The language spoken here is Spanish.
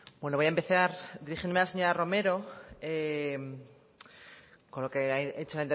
bueno a empezar dirigiéndome a la señora romero con lo que ha hecho